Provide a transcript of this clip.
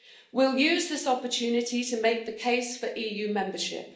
We'll use this opportunity to make the case for EU membership.